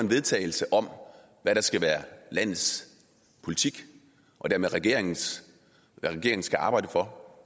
vedtagelse om hvad der skal være landets politik og dermed regeringens hvad regeringen skal arbejde for